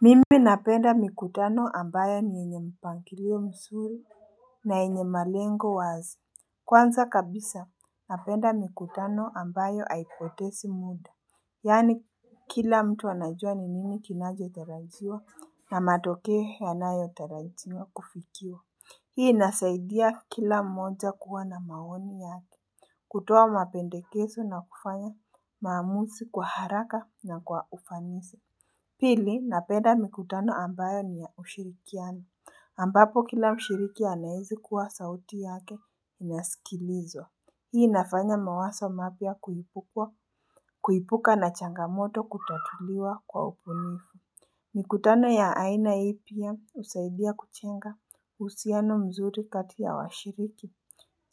Mimi napenda mikutano ambayo ni yenye mpangilio mzuri na yenye malengo wazi. Kwanza kabisa, napenda mikutano ambayo haipotezi muda. Yaani kila mtu anajua ni nini kinachotarajiwa na matokeo yanayotarajiwa kufikiwa. Hii inasaidia kila mmoja kuwa na maoni yake. Kutoa mapendekezo na kufanya maamuzi kwa haraka na kwa ufanisi Pili, napenda mikutano ambayo ni ya ushirikiano ambapo kila mshiriki anaweza kuwa sauti yake inasikilizwa. Hii inafanya mawazo mapya kuibuka na changamoto kutatuliwa kwa ubunifu. Mikutano ya aina hii pia husaidia kujenga uhusiano mzuri kati ya washiriki.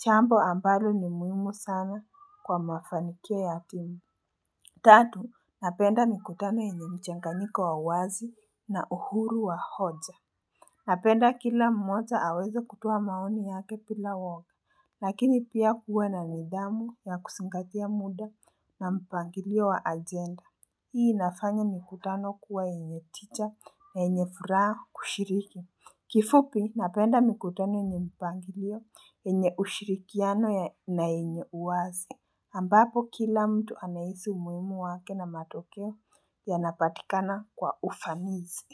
Jambo ambayo ni muhimu sana kwa mafanikio ya timu. Tatu, napenda mikutano yenye mchanganyiko wa uwazi na uhuru wa hoja. Napenda kila mmoja aweze kutuoa maoni yake bila woga. Lakini pia kuwe na nidhamu ya kuzingatia muda na mpangilio wa ajenda. Hii inafanya mikutano kuwa yenye tija na yenye furaha kushiriki. Kifupi, napenda mikutano yenye mpangilio, yenye ushirikiano na yenye uwazi. Ambapo kila mtu anahisi umuhimu wake na matokeo yanapatikana kwa ufanisi.